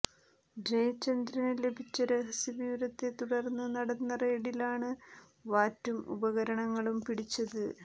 ജയചന്ദ്രന് ലഭിച്ച രഹസ്യ വിവരത്തെ തുടര്ന്ന് നടന്ന റെയ്ഡിലാണ് വാറ്റും ഉപകരണങ്ങളും പിടിച്ചത്